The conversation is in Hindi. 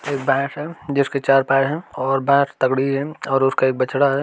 एक भैंस है जिसके चार पैर है और भैंस तगड़ी है और उसका एक बछड़ा है।